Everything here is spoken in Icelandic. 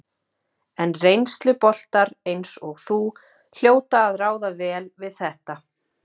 En reynsluboltar eins og þú hljóta að ráða vel við þetta?